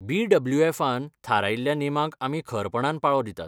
बीडब्ल्यूएफान थारायिल्ल्या नेमांक आमी खरपणान पाळो दितात.